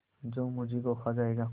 जो मुझी को खा जायगा